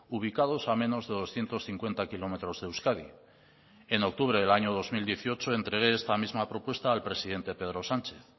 ubicados a menos de doscientos cincuenta kilómetros de euskadi en octubre del año dos mil dieciocho entregué esta misma propuesta al presidente pedro sánchez